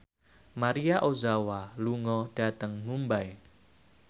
Maria Ozawa lunga dhateng Mumbai